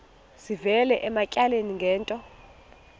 sivela ematyaleni ngento